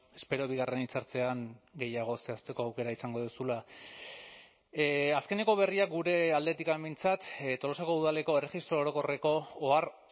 espero bigarren hitzartzean gehiago zehazteko aukera izango duzula azkeneko berriak gure aldetik behintzat tolosako udaleko erregistro orokorreko ohar